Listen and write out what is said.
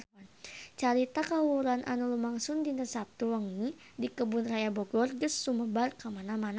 Carita kahuruan anu lumangsung dinten Saptu wengi di Kebun Raya Bogor geus sumebar kamana-mana